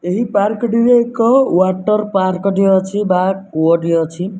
ଏହି ପାର୍କ ଟିରେ ଏକ ୱାଟର ପାର୍କ ଟିଏ ଅଛି ବା କୂଅଟିଏ ଅଛି।